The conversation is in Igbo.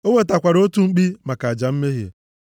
O wetakwara otu mkpi maka aja mmehie,